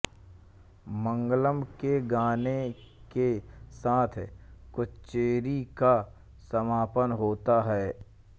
मंगळम के गाने के साथ कच्चेरी का समापन होता है